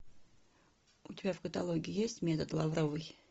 у тебя в каталоге есть метод лавровой